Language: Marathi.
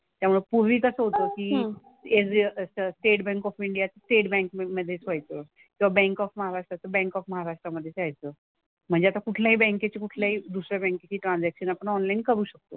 त्यामुळे पूर्वी कसं होतं की एरव्ही असं स्टेट बँक ऑफ इंडियात स्टेट बँक मधेच व्हायचं. किंवा बँक ऑफ महाराष्ट्राचं बँक ऑफ महाराष्ट्र मधेच व्हायचं. म्हणजे आता कुठल्याही बँकेची कुठल्याही दुसऱ्या बँकेची ट्रांझॅक्शन आपण ऑनलाईन करू शकतो.